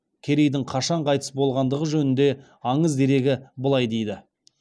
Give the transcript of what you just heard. керейдің қашан қайтыс болғандығы жөнінде аңыз дерегі былай дейді